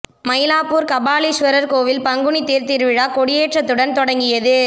மயிலாப்பூர் கபாலீஸ்வரர் கோவில் பங்குனி தேர் திருவிழா கொடியேற்றத்துடன் தொடங்கியது